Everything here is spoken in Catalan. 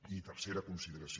i tercera consideració